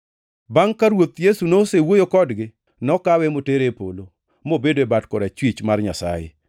Bangʼ ka Ruoth Yesu nosewuoyo kodgi nokawe motere e polo, mobedo e bat korachwich mar Nyasaye.